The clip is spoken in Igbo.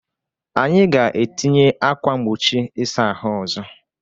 Anyị ga-etinye ákwà mgbochi ịsa ahụ ọzọ.